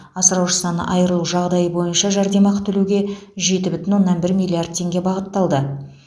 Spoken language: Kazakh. асыраушысынан айрылу жағдайы бойынша жәрдемақы төлеуге жеті бүтін оннан бір миллиард теңге бағытталды